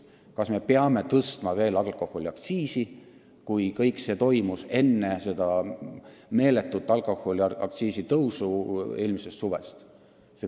Kas me peame alkoholiaktsiisi veel tõstma, kui seda tehti ka enne seda meeletut alkoholiaktsiisi tõusu eelmisel suvel?